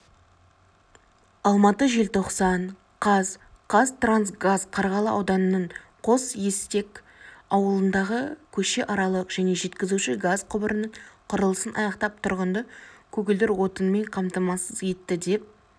алматы желтоқсан қаз қазтрансгаз қарғалы ауданының қосестек ауылындағы көшеаралық және жеткізуші газ құбырының құрылысын аяқтап тұрғынды көгілдір отынмен қамтамасыз етті деп